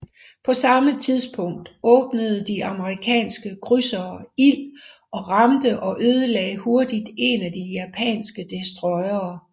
På samme tidspunkt åbnede de amerikanske krydsere ild og ramte og ødelagde hurtigt en af de japanske destroyere